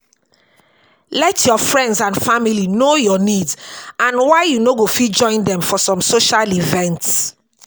Let your friends and family know your needs and why you no go fit join them for some social events